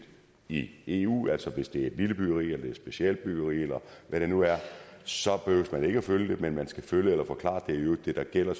i eu altså at hvis det er et lille byggeri eller et specialbyggeri eller hvad det nu er så behøver man ikke at følge det men man skal følge det eller forklare og det der gælder